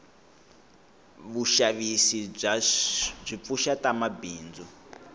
vushavisi bwipfusha tamabhindzu